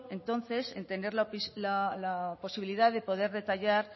entonces en tener la posibilidad de poder detallar